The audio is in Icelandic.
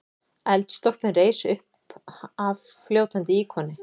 Eldstólpinn reis uppaf fljótandi íkoni.